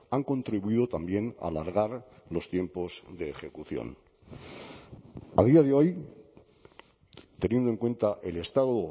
han contribuido también a alargar los tiempos de ejecución a día de hoy teniendo en cuenta el estado